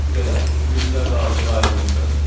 Belə, sizinkilərlə artıq ayrılmısız?